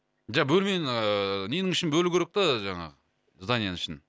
бөлмені ыыы ненің ішін бөлу керек та жаңағы зданиенің ішін